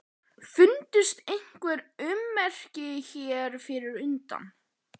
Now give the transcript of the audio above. Fundust einhver ummerki hér fyrir utan?